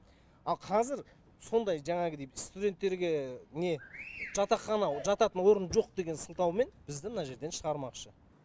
ал қазір сондай жаңағыдей студенттерге не жатақхана жататын орын жоқ деген сылтаумен бізді мына жерден шығармақшы